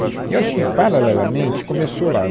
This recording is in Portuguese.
Eu acho que, paralelamente, começou lá.